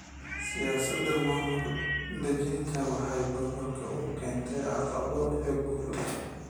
Siyaasadda maamul-daadejinta waxay gobolka u keentay caqabado iyo guulo.